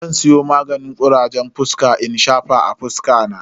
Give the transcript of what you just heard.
Zan siyo maganin kurajen fuska in shafa a fuska na.